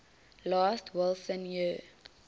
last wilson year